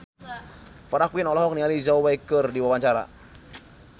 Farah Quinn olohok ningali Zhao Wei keur diwawancara